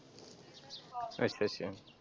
ਅੱਛਾ ਅੱਛਾ ।